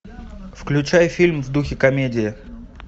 включай фильм в духе комедии